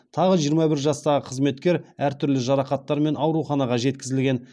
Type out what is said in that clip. тағы жиырма бір жастағы қызметкер әртүрлі жарақаттармен ауруханаға жеткізілген